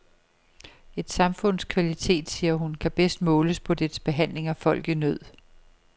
Et samfunds kvalitet, siger hun, kan bedst måles på dets behandling af folk i nød.